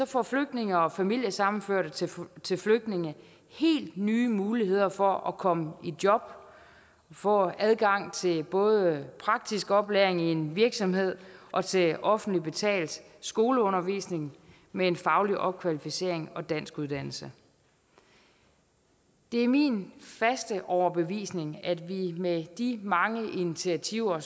får flygtninge og familiesammenførte til til flygtninge helt nye muligheder for at komme i job få adgang til både praktisk oplæring i en virksomhed og til offentligt betalt skoleundervisning med en faglig opkvalificering og danskuddannelse det er min faste overbevisning at vi med de mange initiativer